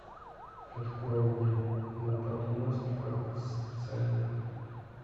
открой мне на подмостках сцены